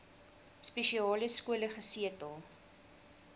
spesiale skole gesetel